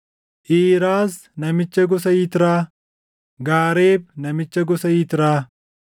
Iiraas namicha gosa Yitraa, Gaareeb namicha gosa Yitraa,